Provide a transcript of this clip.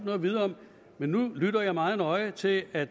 at vide om nu lytter jeg meget nøje til at